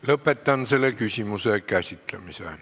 Lõpetan selle küsimuse käsitlemise.